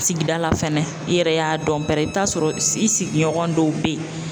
Sigida la fɛnɛ, i yɛrɛ y'a dɔn pɛrɛ, i bɛ t'a sɔrɔ i sigiɲɔgɔn dɔw bɛ yen